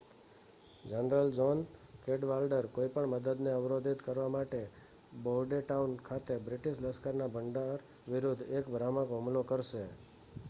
general John Cadwalader કોઈપણ મદદને અવરોધિત કરવા માટે બોર્ડેટાઉન ખાતે બ્રિટીશ લશ્કરના ભંડાર વિરુદ્ધ એક ભ્રામક હુમલો કરશે